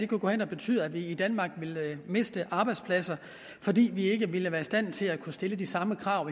gå hen og betyde at vi i danmark ville miste arbejdspladser fordi vi ikke ville være i stand til at stille de samme krav